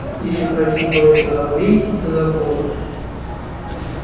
если пройти по этой аллейке до забора